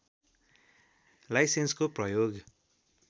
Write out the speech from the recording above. लाइसेन्सको प्रयोग